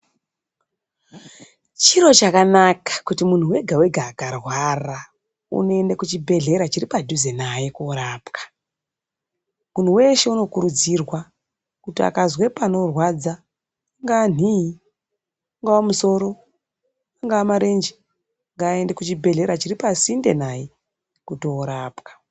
Chiro chakanaka kuti munhu wega-wega akarwara unoende kuchibhedhlera chiripadhuze naye korapwa. Munhu weshe unokurudzirwa kuti akazwe panorwadza, ingaa nhii, ungava musoro, angava marenje, ngaaende kuchibhedhlera chiri pasinde naye kuti orapwa.